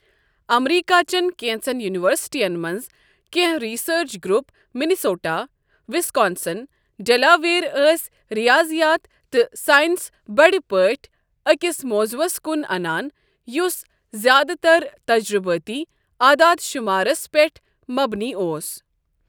امریكا چین كینژن یوٗنوسٹین منز کٮ۪نٛہہ research group, Minnesota, Wisconsin, Delaware, ٲسۍ رِیٲضیات تہٕ ساینس بٕڈِ پٲٹھۍ اكِس موضوٗعس كُن انان یُس زیادٕ تر تجربٲتی عاداد شمارس پیٹھ مبنی اوس۔